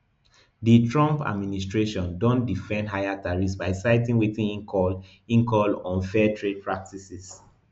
di trump administration don defend di higher tariffs by citing wetin e call e call unfair trade practices